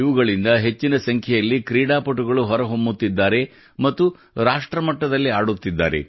ಇವುಗಳಿಂದ ಹೆಚ್ಚಿನ ಸಂಖ್ಯೆಯಲ್ಲಿ ಕ್ರೀಡಾಪಟುಗಳು ಹೊರಹೊಮ್ಮುತ್ತಿದ್ದಾರೆ ಮತ್ತು ರಾಷ್ಟ್ರ ಮಟ್ಟದಲ್ಲಿ ಆಡುತ್ತಿದ್ದಾರೆ